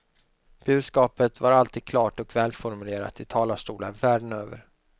Budskapet var alltid klart och välformulerat i talarstolar världen över.